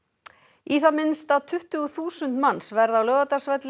í það minnsta tuttugu þúsund manns verða á Laugardalsvelli í